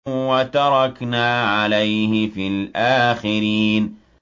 وَتَرَكْنَا عَلَيْهِ فِي الْآخِرِينَ